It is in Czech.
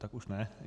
Tak už ne.